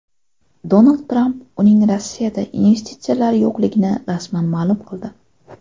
Donald Tramp uning Rossiyada investitsiyalari yo‘qligini rasman ma’lum qildi.